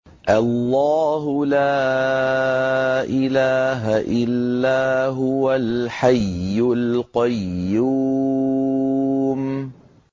اللَّهُ لَا إِلَٰهَ إِلَّا هُوَ الْحَيُّ الْقَيُّومُ